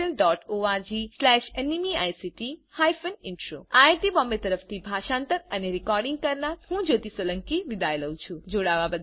iit Bombay તરફથી spoken tutorial project માટે ભાષાંતર કરનાર હું જ્યોતી સોલંકી વિદાય લઉં છું